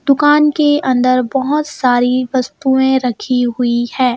दुकान के अंदर बहोत सारी वस्तुएं रखी हुई है।